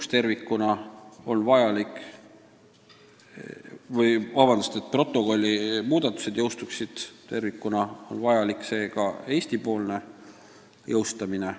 Seega selleks, et protokolli muudatused jõustuksid tervikuna, on vajalik Eesti-poolne jõustamine.